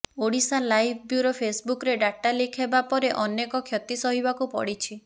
Odisha live bureau ଫେସ୍ବୁକ୍ରେ data leak ହେବା ପରେ ଅନେକ କ୍ଷତି ସହିବାକୁ ପଡ଼ିଛି